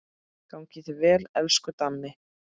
Gangi þér vel, elsku Dammi.